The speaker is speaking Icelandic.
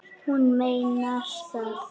Hún meinar það.